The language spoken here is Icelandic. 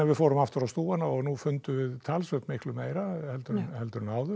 við fórum aftur á stúfana og fundum talsvert meira en áður